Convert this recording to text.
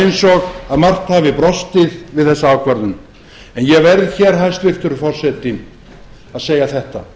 eins og margt hafi brostið við þessa ákvörðun en ég verð hér hæstvirtur forseti að segja þetta